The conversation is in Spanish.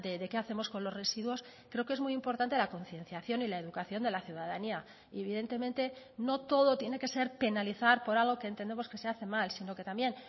de qué hacemos con los residuos creo que es muy importante la concienciación y la educación de la ciudadanía y evidentemente no todo tiene que ser penalizar por algo que entendemos que se hace mal sino que también